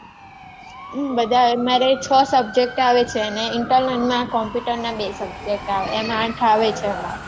બધાં અમારે છ subject આવે છે અને internal ના computer ના બે subject આવે એમ આંઠ આવે છે અમારે